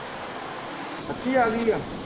ਸੱਚੀ ਆ ਗਈ ਹੈ?